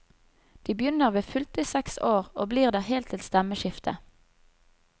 De begynner ved fylte seks år, og blir der helt til stemmeskiftet.